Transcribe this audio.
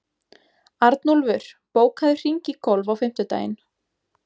Arnúlfur, bókaðu hring í golf á fimmtudaginn.